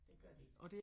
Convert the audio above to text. Det gør de ikke